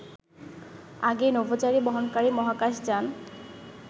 আগে নভোচারী বহনকারী মহাকাশ যান